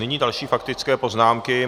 Nyní další faktické poznámky.